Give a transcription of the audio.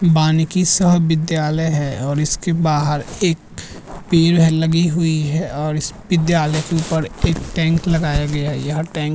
बनिकी शाह विद्यालय है और इसके बाहार एक पेड़ है लगी हुई है और इस विद्यालय के ऊपर एक टैंक लगाया गया है यह टैंक --